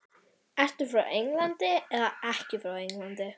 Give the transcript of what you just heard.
Ertu frá Englandi eða ekki frá Englandi?